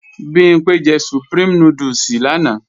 Bimpé jẹ Supreme núdùsì lánàá